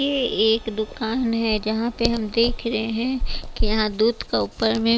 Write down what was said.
ये एक दुकान है जहां पे हम देख रहे हैं कि यहाँ दूध का ऊपर में--